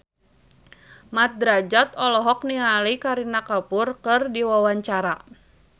Mat Drajat olohok ningali Kareena Kapoor keur diwawancara